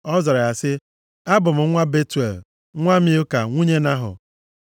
Ọ zara sị ya, “Abụ m nwa Betuel, nwa Milka nwunye Nahọ.”